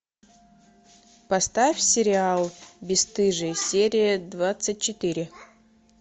поставь сериал бесстыжие серия двадцать четыре